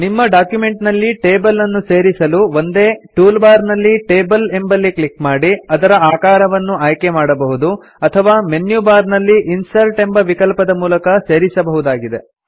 ನಿಮ್ಮ ಡಾಕ್ಯುಮೆಂಟನಲ್ಲಿ ಟೇಬಲ್ ಅನ್ನು ಸೇರಿಸಲು ಒಂದೇ ಟೂಲ್ ಬಾರ್ ನಲ್ಲಿ ಟೇಬಲ್ ಎಂಬಲ್ಲಿ ಕ್ಲಿಕ್ ಮಾಡಿ ಅದರ ಆಕಾರವನ್ನು ಆಯ್ಕೆಮಾಡಬಹುದು ಅಥವಾ ಮೆನ್ಯು ಬಾರ್ ನಲ್ಲಿ ಇನ್ಸರ್ಟ್ ಎಂಬ ವಿಕಲ್ಪದ ಮೂಲಕ ಸೇರಿಸಬಹುದಾಗಿದೆ